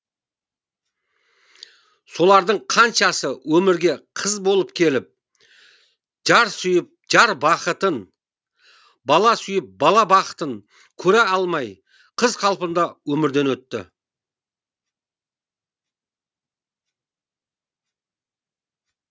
солардың қаншасы өмірге қыз болып келіп жар сүйіп жар бақытын бала сүйіп бала бақытын көре алмай қыз қалпында өмірден өтті